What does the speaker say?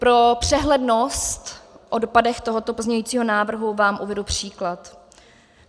Pro přehlednost, o dopadech tohoto pozměňujícího návrhu vám uvedu příklad.